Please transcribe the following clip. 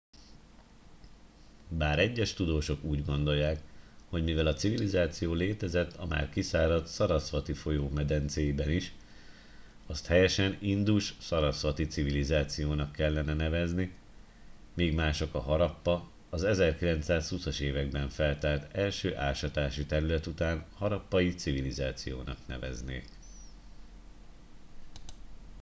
bár egyes tudósok úgy gondolják hogy mivel a civilizáció létezett a már kiszáradt sarasvati folyó medencéiben is azt helyesen indus sarasvati civilizációnak kellene nevezni míg mások a harappa az 1920 as években feltárt első ásatási terület után harappai civilizációnak neveznék